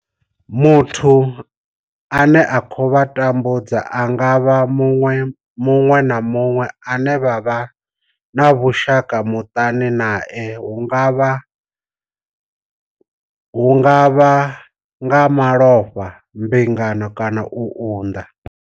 Muthu ane a khou vha tambudza a nga vha muṅwe na muṅwe ane vha vha na vhushaka muṱani nae hu nga vha nga malofha, mbingano kana u unḓa.